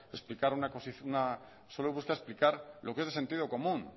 explicar lo que es de sentido común